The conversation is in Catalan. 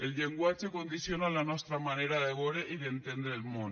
el llenguatge condiciona la nostra manera de veure i d’entendre el món